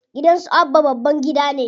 Gidan su Abba babban gida ne.